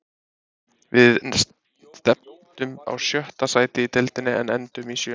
Við stefndum á sjötta sætið í deildinni en endum í sjöunda.